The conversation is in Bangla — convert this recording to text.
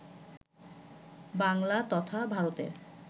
বাংলা তথা ভারতের